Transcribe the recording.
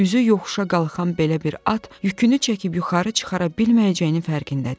Üzü yoxuşa qalxan belə bir at yükünü çəkib yuxarı çıxara bilməyəcəyinin fərqindədir.